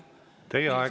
Teie aeg!